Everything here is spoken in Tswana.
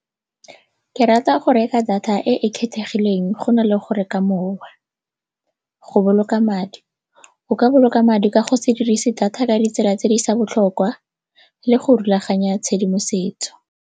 Ke rata go reka data e e kgethegileng go na le go reka mowa. Go boloka madi, o ka boloka madi ka go se dirise data ka ditsela tse di seng botlhokwa le go rulaganya tshedimosetso.